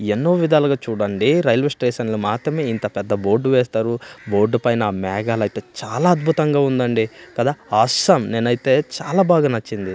ఎన్నో విధాలుగా చూడండి రైల్వే స్టేషన్లో మాత్రమే ఇంత పెద్ద బోర్డు వేస్తారు బోర్డు పైన మేఘాలైతే చాలా అద్భుతంగా ఉందండి కదా అసమ్ నేనైతే చాలా బాగా నచ్చింది.